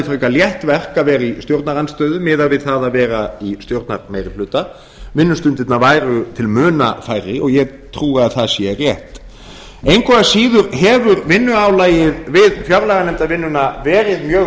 frekar létt verk að vera í stjórnarandstöðu miðað við að vera í stjórnarmeirihluta vinnustundirnar væru til muna færri og ég trúi að það sé rétt engu að síður hefur vinnuálagið við fjárlaganefndarvinnuna verið mjög